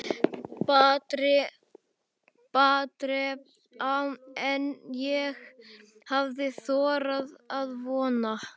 Betra en ég hafði þorað að vona